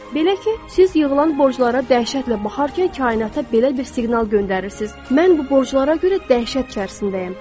Belə ki, siz yığılan borclara dəhşətlə baxarkən kainata belə bir siqnal göndərirsiniz: Mən bu borclara görə dəhşət içərisindəyəm.